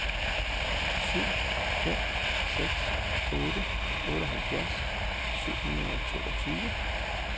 syv fem seks otte otteoghalvfjerds syv hundrede og toogtyve